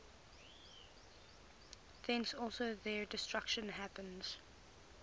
thence also their destruction happens